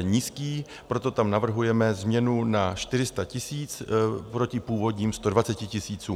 nízký, proto tam navrhujeme změnu na 400 tisíc proti původním 120 tisícům.